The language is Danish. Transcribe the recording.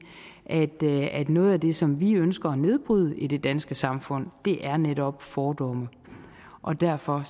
at noget af det som vi ønsker at nedbryde i det danske samfund netop er fordomme og derfor